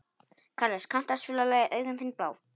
Karles, kanntu að spila lagið „Augun þín blá“?